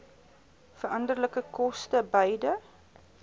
veranderlike koste beide